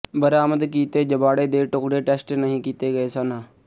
ਬਰਾਮਦ ਕੀਤੇ ਜਬਾੜੇ ਦੇ ਟੁਕੜੇ ਟੈਸਟ ਨਹੀਂ ਕੀਤੇ ਗਏ ਸਨ